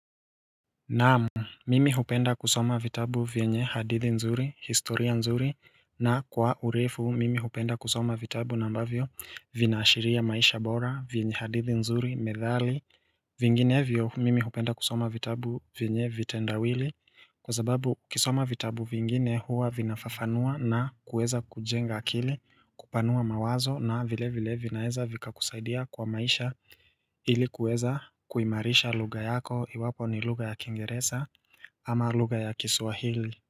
Naam mimi hupenda kusoma vitabu vyenye hadithi nzuri historia nzuri na kwa urefu mimi hupenda kusoma vitabu nambavyo vina ashiria maisha bora vyenye hadithi nzuri methali Vinginevyo mimi hupenda kusoma vitabu vyenye vitendawili kwa zababu ukisoma vitabu vingine huwa vinafafanua na kueza kujenga akili kupanua mawazo na vile vile vinaweza vika kusaidia kwa maisha ili kuweza kuimarisha lugha yako iwapo ni lugha ya kingeresa ama lugga ya kiswahili.